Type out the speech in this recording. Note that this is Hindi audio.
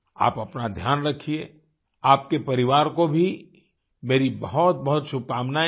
आप अपना ध्यान रखिये आपके परिवार को भी मेरी बहुतबहुत शुभकामनायें हैं